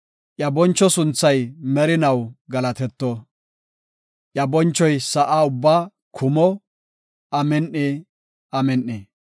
Iya boncho sunthay merinaw galatetto; iya bonchoy sa7a ubbaa kumo. Amin7i! Amin7i!